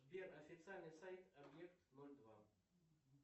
сбер официальный сайт объект ноль два